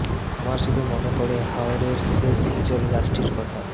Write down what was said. আমার শুধু মনে পড়ে হাওরের শেষ হিজল গাছটির কথা